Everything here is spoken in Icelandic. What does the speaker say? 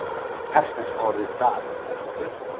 Persneska orðið zar merki gull.